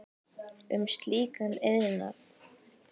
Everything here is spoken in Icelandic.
um slíkan iðnað.